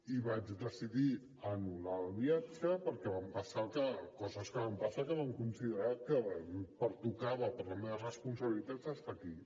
i vaig decidir anul·lar el viatge perquè van passar les coses que van passar que vam considerar que em pertocava per la meva responsabilitat estar aquí